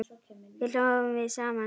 Svo hlógum við saman.